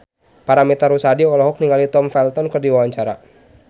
Paramitha Rusady olohok ningali Tom Felton keur diwawancara